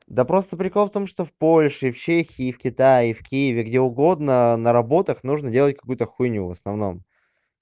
да просто прикол в том что в польше и в чехии и в китае и в киеве где угодно на работах нужно делать какую-то хуйню в основном